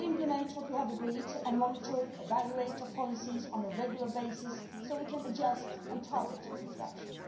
We will implement what we have agreed and monitor and evaluate our policies on a regular basis so that we can adjust and target future action.